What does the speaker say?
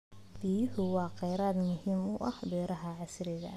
Biyuhu waa kheyraad muhiim u ah beeraha casriga ah.